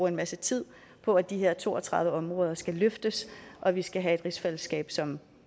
en masse tid på at de her to og tredive områder skal løftes og vi skal have et rigsfællesskab som